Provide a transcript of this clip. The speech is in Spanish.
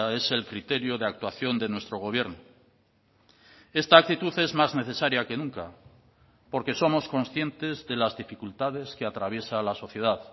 es el criterio de actuación de nuestro gobierno esta actitud es más necesaria que nunca porque somos conscientes de las dificultades que atraviesa la sociedad